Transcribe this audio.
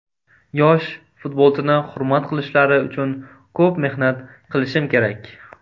Yosh futbolchini hurmat qilishlari uchun ko‘p mehnat qilishim kerak.